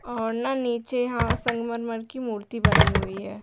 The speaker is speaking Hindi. और ना नीचे यहाँ संगमरमर की मूर्ति बनी हुई है।